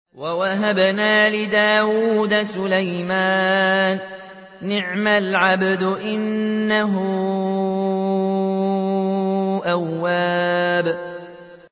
وَوَهَبْنَا لِدَاوُودَ سُلَيْمَانَ ۚ نِعْمَ الْعَبْدُ ۖ إِنَّهُ أَوَّابٌ